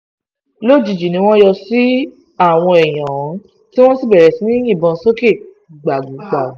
lójijì ni wọ́n yọ sí àwọn èèyàn ohun tí wọ́n sì bẹ̀rẹ̀ sí í yìnbọn sókè gbàùgbàù